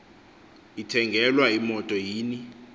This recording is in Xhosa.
ithengelwa imoto yini